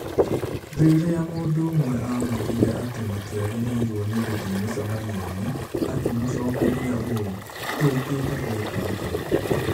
Rĩrĩa mũndũ ũmwe aamwĩrire atĩ matiagĩrĩirũo nĩ gũthiĩ mĩcemanio-inĩ, akĩmũcokeria ũũ: "Tũũkĩte gwĩka atĩa?"